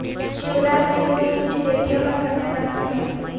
شیوراج نے گود لی ہوئی بیٹیوں کا کنیا دان کیا